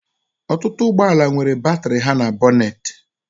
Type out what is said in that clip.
Ọtụtụ ụgbọ ala nwere batrị ha na bonate